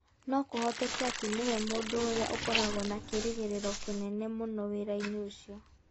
No kũhoteke atĩ nĩwe mũndũ ũrĩa ũkoragwo na kĩĩrĩgĩrĩro kĩnene mũno wĩra-inĩ ũcio.